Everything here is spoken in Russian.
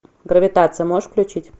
гравитация можешь включить